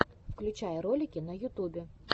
включай ролики на ютубе